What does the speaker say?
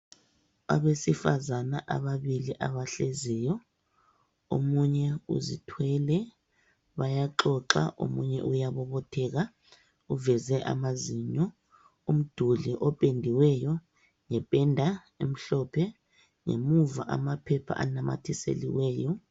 Abesifazana ababili abahleziyo omunye uzithwele bayaxoxa omunye uyabobotheka uveze amazinyo. Umduli opendiweyo ngependa emhlophe ngemuva amaphepha anamathiselweyo.